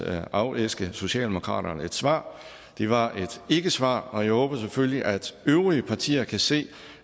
at afæske socialdemokratiet et svar det var et ikkesvar og jeg håber selvfølgelig at øvrige partier kan se